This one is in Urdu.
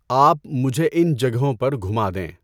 آپ مجھے ان جگہوں پر گُھما دیں۔